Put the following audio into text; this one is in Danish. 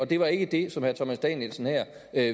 det var ikke det som herre thomas danielsen